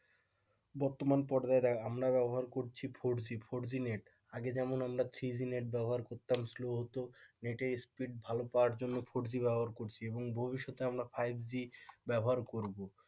বর্তমান পর্যায়ে আমরা ব্যবহার করছি four G four G net আগে যেমন আমরা থ্রি জি নেট ব্যবহার করতাম slow হতো নেটের speed ভালো পাওয়ার জন্য ফোরজি ব্যবহার করছি এবং ভবিষ্যতে আমরা ফাইভ জি ব্যবহার করব।